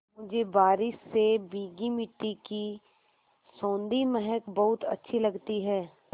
मुझे बारिश से भीगी मिट्टी की सौंधी महक बहुत अच्छी लगती है